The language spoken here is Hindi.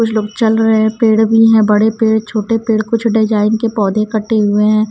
कुछ लोग चल रहे हैं पेड़ भी हैं बड़े पेड़ छोटे पेड़ कुछ डिजाइन के पौधे कटे हुए हैं।